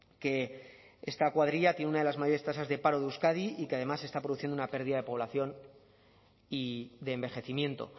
que esta cuadrilla tiene una de las mayores tasas de paro de euskadi y que además se está produciendo una pérdida de población y de envejecimiento